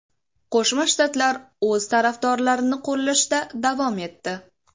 Qo‘shma Shtatlar o‘z tarafdorlarini qo‘llashda davom etdi.